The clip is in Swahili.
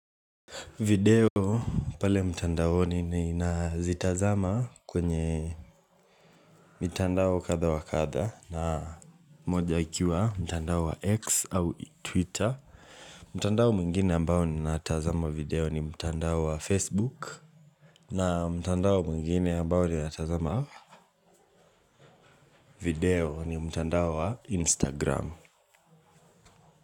Video pale mtandaoni ninazitazama kwenye mitandao kadha wa kadha na moja ikiwa mtandao wa x au twitter. Mtandao mwingine ambao ninatazama video ni mtandao wa facebook. Na mtandao mwingine ambao ninatazama video ni mtandao wa Instagram.